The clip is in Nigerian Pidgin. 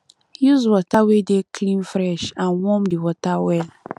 use water wey dey clean fresh and warm di water well